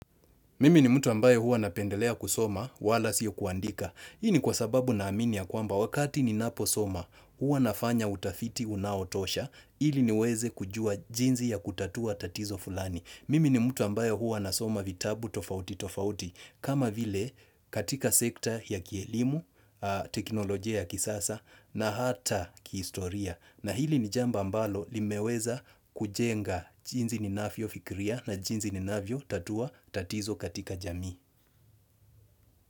Mimi ni mtu ambayo huwa napendelea kusoma wala sio kuandika. Hii ni kwa sababu naamini ya kwamba wakati ninaposoma huwa nafanya utafiti unaotosha ili niweze kujua jinzi ya kutatua tatizo fulani. Mimi ni mtu ambayo huwa nasoma vitabu tofauti tofauti kama vile katika sekta ya kielimu, teknolojia ya kisasa na hata kihistoria. Na hili ni jambo ambalo limeweza kujenga jinzi ninafyofikiria na jinzi ninavyotatua tatizo katika jamii.